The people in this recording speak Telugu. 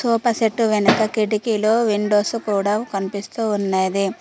సోఫా సెట్టు వెనక కిటికీలు విండోస్ కూడా కనిపిస్తూ ఉండేది.